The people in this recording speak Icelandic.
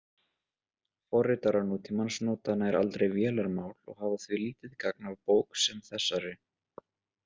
Forritarar nútímans nota nær aldrei vélarmál og hafa því lítið gagn af bók sem þessari.